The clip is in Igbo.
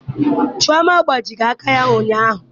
Chioma agbajighị aka ya ụnyaahụ.